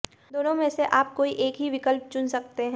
दोनों में से आप कोई एक ही विकल्प चुन सकते हैं